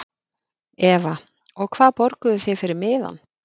Eva: Og hvað borguðuð þið fyrir miðann?